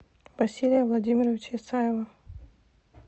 василия владимировича исаева